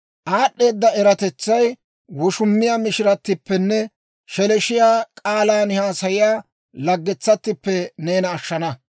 Aad'd'eeda eratetsay woshumiyaa mishiratippenne sheleeshshiyaa k'aalan haasayiyaa laggetsattippe neena ashshana.